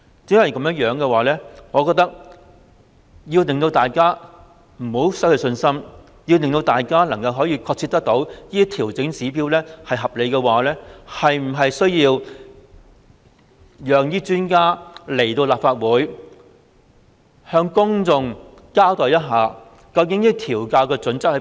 正因如此，為免令大家失去信心，並讓大家確切了解調整指標是合理的做法，我們是否需要請專家來立法會向公眾交代，究竟調校準則為何？